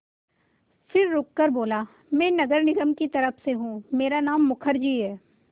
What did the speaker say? फिर रुककर बोला मैं नगर निगम की तरफ़ से हूँ मेरा नाम मुखर्जी है